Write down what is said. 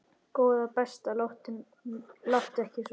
Góða besta láttu ekki svona!